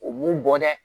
O mun bɔ dɛ